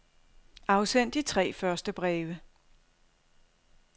Afsend de tre første breve.